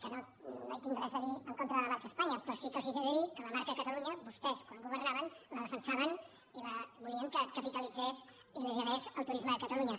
que no hi tinc res a dir en contra de la marca espanya però sí que els he de dir que la marca catalunya vostès quan governaven la defensaven i volien que capitalitzés i liderés el turisme de catalunya